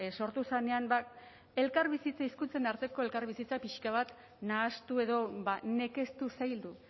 sortu zenean ba hizkuntzen arteko elkarbizitza pixka bat nahastu edo nekeztu zaildu